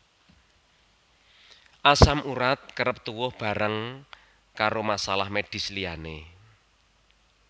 Asam urat kerep tuwuh bareng karo masalah medis liyane